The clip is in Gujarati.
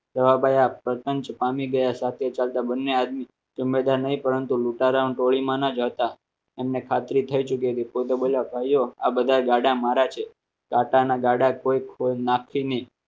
જવાબ પસંદ છે પામી ગયા સાથે ચાલતા બંને પરંતુ લુંટારામાં ટોળી માના જ હતા એમને ખાતરી થઈ ચૂકી ફોટો આ બધા ગાડા મારા છે ટાટા ના ગાડા કોઈ કોઈ નાખીને.